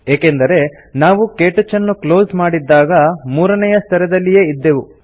ಏಕೆಂದರೆ ನಾವು ಕೇಟಚ್ ಅನ್ನು ಕ್ಲೋಸ್ ಮಾಡಿದ್ದಾಗ ಮೂರನೇಯ ಸ್ತರದಲ್ಲಿಯೇ ಇದ್ದೆವು